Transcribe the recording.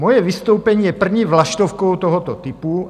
Moje vystoupení je první vlaštovkou tohoto typu.